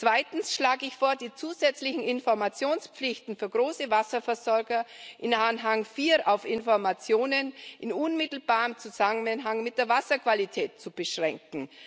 Zweitens schlage ich vor, die zusätzlichen Informationspflichten für große Wasserversorger in Anhang IV auf Informationen in unmittelbarem Zusammenhang mit der Wasserqualität zu beschränken.